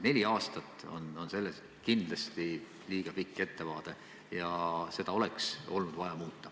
Neli aastat on kindlasti liiga pikk ettevaade ja seda oleks olnud vaja muuta.